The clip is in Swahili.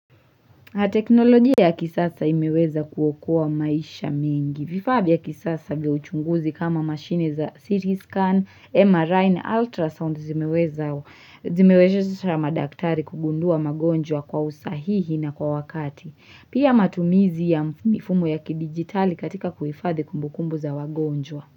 Teknolojia ya kisasa imeweza kuokoa maisha mengi vifaa vya kisasa vya uchunguzi kama machine za CT Scan MRI na ultrasound zimeweza zimewezesha madaktari kugundua magonjwa kwa usahihi na kwa wakati Pia matumizi ya mifumo ya kidigitali katika kuhifadhi kumbukumbu za wagonjwa.